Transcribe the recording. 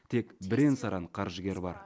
тек бірен саран қаржыгер бар